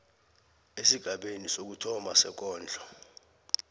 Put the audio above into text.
esigabeni sokuthoma sekondlo